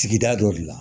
Sigida dɔ de la